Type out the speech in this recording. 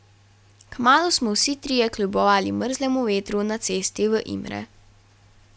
Kmalu smo vsi trije kljubovali mrzlemu vetru na cesti v Imre.